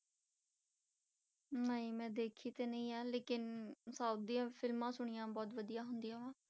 ਨਹੀਂ ਮੈਂ ਦੇਖੀ ਤੇ ਨਹੀਂ ਆਂ ਲੇਕਿੰਨ south ਦੀਆਂ ਫਿਲਮਾਂ ਸੁਣੀਆਂ ਬਹੁਤ ਵਧੀਆ ਹੁੰਦੀਆਂ ਵਾਂ।